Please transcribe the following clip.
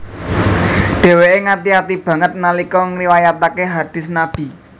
Dheweke ngati ati banget nalika ngriwayatake hadist Nabi